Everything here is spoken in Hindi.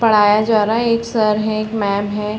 पड़ाया जा रहा है एक सर है एक मेम है ।